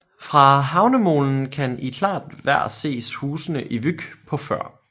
Fra havnemolen kan i klart vejr ses husene i Vyk på Før